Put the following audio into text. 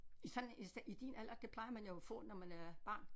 I sådan i i din alder det plejer man jo at få når man er barn